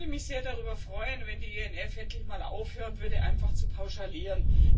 Ich würde mich sehr darüber freuen, wenn die ENF endlich mal aufhören würde, einfach zu pauschalieren.